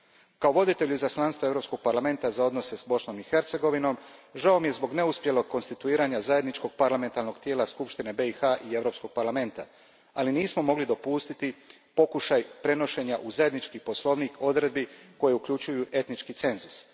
Kao voditelju izaslanstva Europskog parlamenta za odnose s Bosnom i Hercegovinom, žao mi je zbog neuspjelog konstituiranja zajedničkog parlamentarnog tijela Skupštine BiH i Europskog parlamenta, ali nismo mogli dopustiti pokušaj prenošenja u zajednički poslovnik odredbi koje uključuju etnički cenzus.